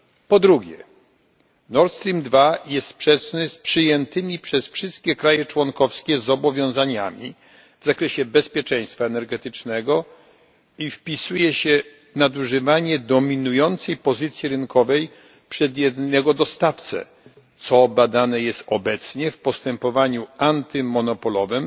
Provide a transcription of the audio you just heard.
Po drugie Nord Stream II jest sprzeczny z przyjętymi przez wszystkie kraje członkowskie zobowiązaniami w zakresie bezpieczeństwa energetycznego i wpisuje się w nadużywanie dominującej pozycji rynkowej przez jednego dostawcę, co badane jest obecnie w postępowaniu antymonopolowym